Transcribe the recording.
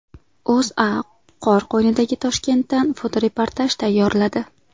O‘zA qor qo‘ynidagi Toshkentdan fotoreportaj tayyorladi.